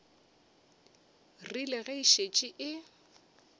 rile ge e šetše e